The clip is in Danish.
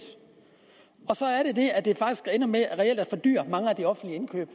og så er der det at det faktisk ender med reelt at fordyre mange af de offentlige indkøb